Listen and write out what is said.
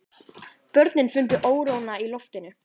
Börnin fundu óróann í loftinu.